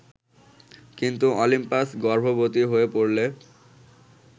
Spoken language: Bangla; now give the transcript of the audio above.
কিন্তু অলিম্পাস গর্ভবতি হয়ে পড়লে